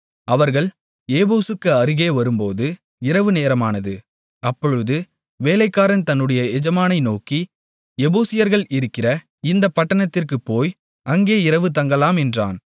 அவர்கள் எபூசுக்கு அருகே வரும்போது இரவு நேரமானது அப்பொழுது வேலைக்காரன் தன்னுடைய எஜமானை நோக்கி எபூசியர்கள் இருக்கிற இந்தப் பட்டணத்திற்குப் போய் அங்கே இரவு தங்கலாம் என்றான்